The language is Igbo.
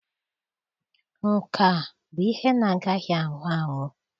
Nka bụ ihe na-agaghị anwụ anwụ.